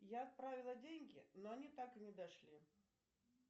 я отправила деньги но они так и не дошли